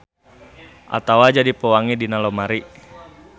Atawa jadi pewangi dina lomari.